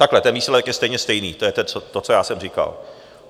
Takhle, ten výsledek je stejně stejný, to je to, co já jsem říkal.